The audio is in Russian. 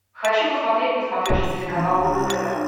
хочу посмотреть на смотрешке телеканал рубль тв